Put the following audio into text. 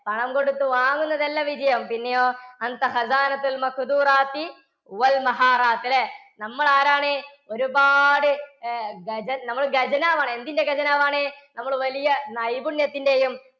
പണം കൊടുത്തു വാങ്ങുന്നതല്ല വിജയം. പിന്നെയോ അല്ലേ? നമ്മൾ ആരാണ്? ഒരുപാട് ഖജന~ നമ്മൾ ഖജനാവ് ആണ്. എന്തിന്റെ ഖജനാവ് ആണ്? നമ്മൾ വലിയ നൈപുണ്യത്തിൻറെയും